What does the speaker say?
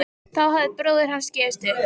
Þá hafði bróðir hans gefist upp.